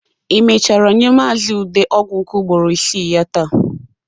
Ị mechara nye Maazi Ude ọgwụ nke ugburo isii ya taa?